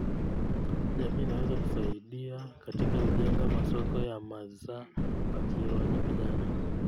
Jamii inaweza kusaidia katika kujenga masoko ya maza wakiwa na vijana